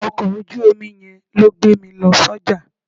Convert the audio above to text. Ọkọ̀ ojú omi yẹn ló gbé mi lọ sọ́jà.